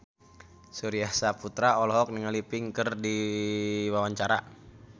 Surya Saputra olohok ningali Pink keur diwawancara